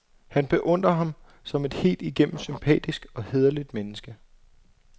Han beundrer ham som et helt igennem sympatisk og hæderligt menneske.